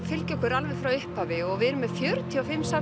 fylgja okkur alveg frá upphafi og við erum með fjörutíu og fimm söfn